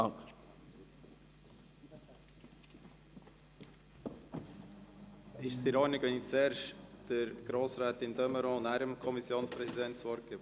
Ist es in Ordnung, wenn ich zuerst Grossrätin de Meuron und anschliessend dem Kommissionspräsidenten das Wort gebe?